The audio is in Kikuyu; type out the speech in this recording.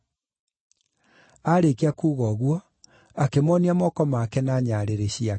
Aarĩkia kuuga ũguo, akĩmoonia moko make na nyarĩrĩ ciake.